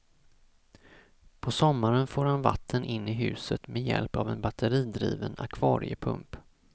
På sommaren får han vatten in i huset med hjälp av en batteridriven akvariepump.